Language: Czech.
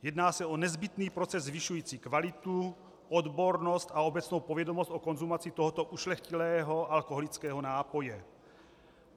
Jedná se o nezbytný proces zvyšující kvalitu, odbornost a obecnou povědomost o konzumaci tohoto ušlechtilého alkoholického nápoje.